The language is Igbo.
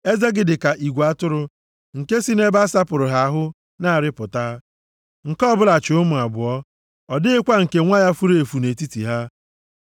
Eze gị dị ka igwe atụrụ nke si nʼebe a sapụrụ ha ahụ na-arịpụta. Nke ọbụla chi ụmụ abụọ, ọ dịghịkwa nke nwa ya furu efu nʼetiti ha.